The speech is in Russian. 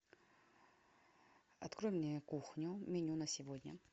открой мне кухню меню на сегодня